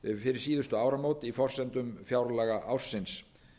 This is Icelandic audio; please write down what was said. fyrir síðustu áramót í forsendum fjárlaga ársins